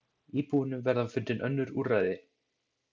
Íbúunum verða fundin önnur úrræði.